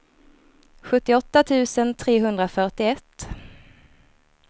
sjuttioåtta tusen trehundrafyrtioett